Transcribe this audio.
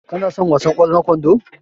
Ka na son wasan ƙwallon kwando?